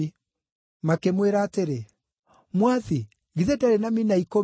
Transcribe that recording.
“Makĩmwĩra atĩrĩ, ‘Mwathi, githĩ ndarĩ na mina ikũmi!’